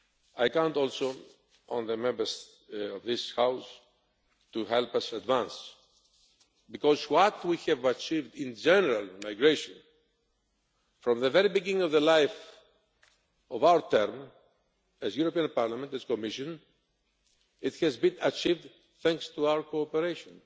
still. I count also on the Members of this House to help us advance, because what we have achieved in general in migration, from the very beginning of our term as the European Parliament and as this Commission, has been achieved thanks to our cooperation,